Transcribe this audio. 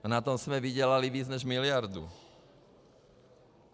A na tom jsme vydělali víc než miliardu.